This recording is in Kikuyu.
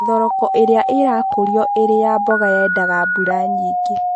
Thoroko ĩrĩa ĩrakũrio ĩrĩ ya mboga yendaga mbura nyingĩ